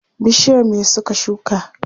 Bishiyar me suka shuka?